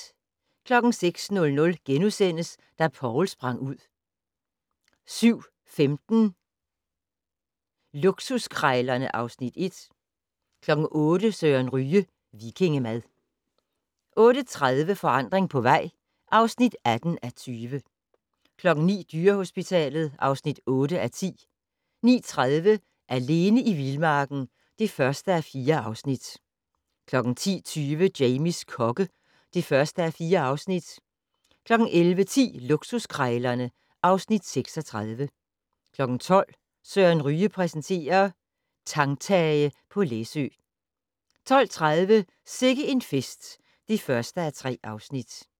06:00: Da Poul sprang ud * 07:15: Luksuskrejlerne (Afs. 1) 08:00: Søren Ryge - vikingemad 08:30: Forandring på vej (18:20) 09:00: Dyrehospitalet (8:10) 09:30: Alene i vildmarken (1:4) 10:20: Jamies kokke (1:4) 11:10: Luksuskrejlerne (Afs. 36) 12:00: Søren Ryge præsenterer: Tangtage på Læsø 12:30: Sikke en fest (1:3)